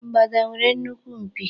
Mgbada nwere nnukwu mpi.